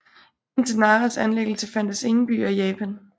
Indtil Naras anlæggelse fandtes ingen byer i Japan